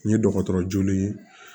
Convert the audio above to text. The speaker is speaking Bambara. N ye dɔgɔtɔrɔ jolen ye